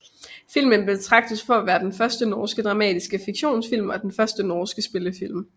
Filmen betragtes for at være den første norske dramatiske fiktionsfilm og den første norske spillefilm